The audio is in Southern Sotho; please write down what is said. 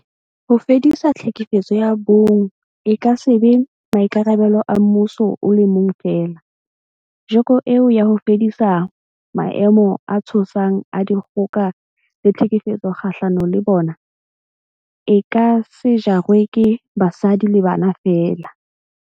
Ho fedisa tlhekefetso ya bong e ka se be maikarabelo a mmuso o le mong feela, joko eo ya ho fedisa maemo a tshosang a dikgoka le tlhekefetso kgahlano le bona, e ka se jarwe ke basadi le bana feela.